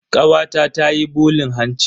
Kawata tayi bulin hanci.